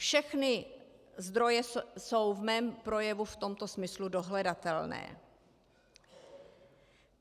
Všechny zdroje jsou v mém projevu v tomto smyslu dohledatelné.